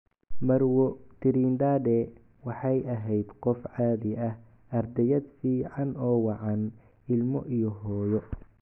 Marwo. Trindade waxay ahayd qof caadi ah - ardayad fican oo wacan, ilmo iyo hooyo.